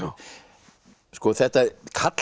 þetta